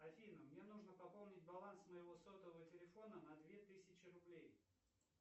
афина мне нужно пополнить баланс моего сотового телефона на две тысячи рублей